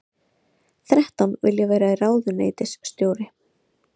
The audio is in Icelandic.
Þrettán vilja vera ráðuneytisstjóri